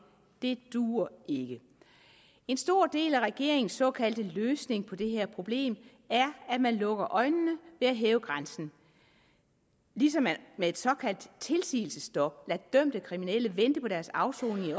det duer ikke en stor del af regeringens såkaldte løsning på det her problem er at man lukker øjnene ved at hæve grænsen ligesom man med et såkaldt tilsigelsesstop lader dømte kriminelle vente på deres afsoning i